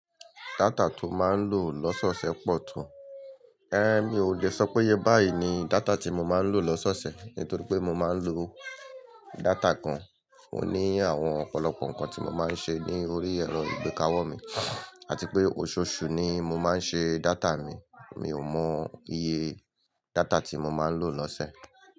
Data to máa ń lò lọ́sọ́ọṣẹ pọ̀ to. Ẹ́n mi ò lè sọ péye báyìí ni data tí mo máa ń lò lọ́sọ́ọṣẹ nítorí pé mo máa ń lò data gan. Ó ní àwọn ọ̀pọ̀lọpọ̀ nǹkan tí mo máa ń ṣe ní orí ẹ̀rọ ìgbéka ọwọ́ mi àti pé òṣooṣù ni mo máa ń ṣe data mi. Mi ò mọ iye data tí mo máa ń lò lọ́sẹ̀.